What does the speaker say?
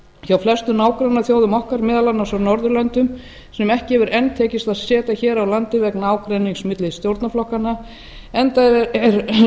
hjá flestum nágrannaþjóðum okkar meðal annars á norðurlöndum sem ekki hefur enn tekist að setja hér á landi vegna ágreinings milli stjórnarflokkanna enda er